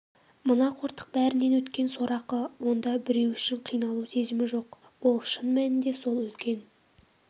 мына қортық бәрінен өткен сорақы онда біреу үшін қиналу сезімі жоқ ол шын мәнінде сол үлкен